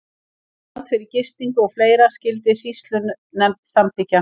Gjald fyrir gistingu og fleira skyldi sýslunefnd samþykkja.